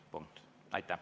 Punkt.